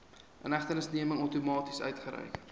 inhegtenisneming outomaties uitgereik